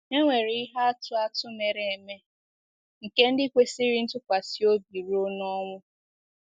E nwere ihe atụ atụ mere eme nke ndị kwesịrị ntụkwasị obi ruo ọnwụ.